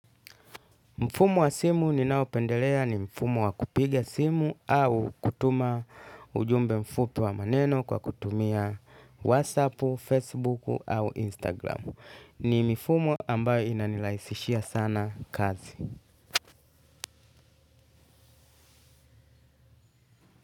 Mfumo wa simu ninaopendelea ni mfumo wa kupiga simu au kutuma ujumbe mfupi wa maneno kwa kutumia whatsapp, facebook au instagram. Ni mifumo ambayo inanirahisishia sana kazi.